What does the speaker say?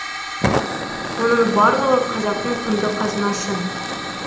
оның барлығы қазақтың құнды қазынасы